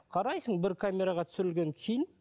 қарайсың бір камераға түсірілген фильм